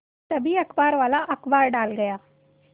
तभी अखबारवाला अखबार डाल गया